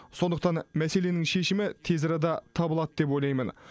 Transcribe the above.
сондықтан мәселенің шешімі тез арада табылады деп ойлаймын